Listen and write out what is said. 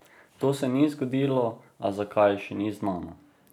To se ni zgodilo, a zakaj, še ni znano.